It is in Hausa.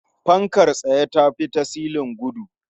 Fankar tsaye ta fi ta silin gudu.